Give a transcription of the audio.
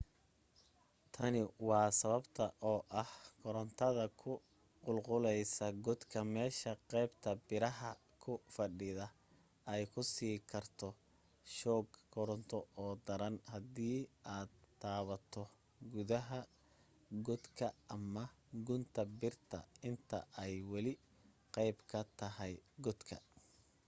tani waa sababta oo ah korantada ku qulquleysa godka meesha qaybta biraha ku fadhida ay ku siin karto shoog koronto oo daran haddii aad taabato gudaha galka ama gunta birta inta ay wali qeyb ka tahay godka